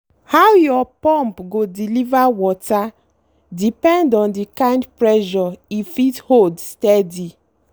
how your pump go deliver water depend on the kind pressure e fit hold steady.